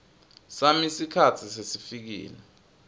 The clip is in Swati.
sami sikhatsi sesifikile